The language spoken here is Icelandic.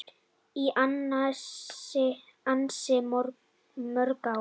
Í ansi mörg ár.